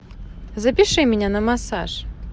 запиши меня на массаж